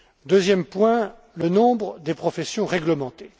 Deuxième point, le nombre des professions réglementées.